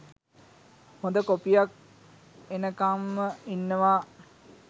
හොඳ කොපියක් එනකංම ඉන්නව.